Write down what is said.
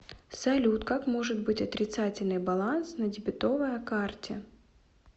салют как может быть отрицательный баланс на дебетовая карте